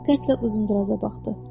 Diqqətlə uzun-duraza baxdı.